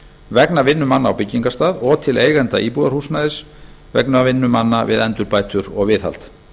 vegna vinnu manna á byggingarstað og til eigenda íbúðarhúsnæðis vegna vinnu manna við endurbætur og viðhald